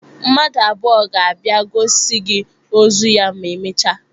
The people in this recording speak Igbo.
Mmadụ abụọ ga-abịa gosi gị ozu ya ma emechaa.